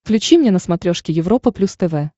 включи мне на смотрешке европа плюс тв